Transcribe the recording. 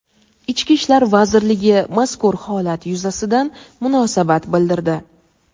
Ichki ishlar vazirligi mazkur holat yuzasidan munosabat bildirdi.